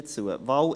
Wahl 1: